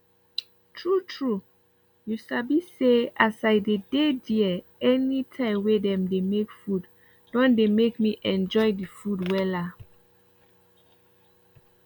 true trueyou sabi say as i dey dey there anytime wey dem dey make food don dey make me enjoy the food wella